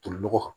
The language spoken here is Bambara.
Tolinɔgɔ kan